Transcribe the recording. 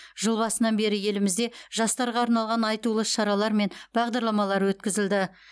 жыл басынан бері елімізде жастарға арналған айтулы іс шаралар мен бағдарламалар өткізілді